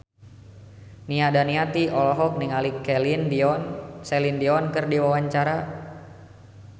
Nia Daniati olohok ningali Celine Dion keur diwawancara